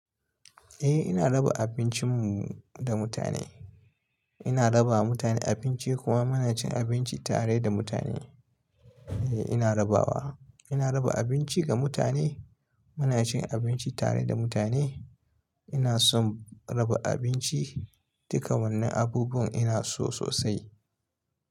Eh, ina raba abincin mu da mutane. Ina raba wa mutane abinci kuma muna cin abinci tare da mutane. Eh ina rabawa. Ina raba abinci ga mutane. Muna cin abinci tare da mutane. Ina son raba abinci. Duka wannan abubuwan ina so sosai.